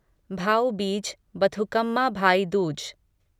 Bhau Beej Bathukamma Bhai Dooj